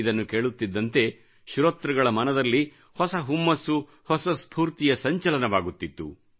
ಇದನ್ನು ಕೇಳುತ್ತಿದ್ದಂತೆ ಶ್ರೋತೃಗಳ ಮನದಲ್ಲಿ ಹೊಸ ಹುಮ್ಮಸ್ಸು ಹೊಸ ಸ್ಪೂರ್ತಿಯ ಸಂಚಲನವಾಗುತ್ತಿತ್ತ್ತು